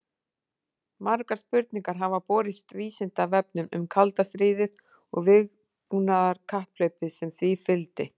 Margar spurningar hafa borist Vísindavefnum um kalda stríðið og vígbúnaðarkapphlaupið sem því fylgdi.